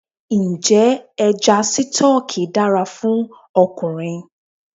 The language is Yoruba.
Ǹjẹ́ Ẹja Sítọ́ọ́kì dára fún ọkùnrin?